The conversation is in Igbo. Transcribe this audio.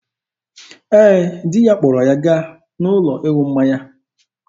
Ee, di ya kpọrọ ya gaa n'ụlọ ịṅụ mmanya.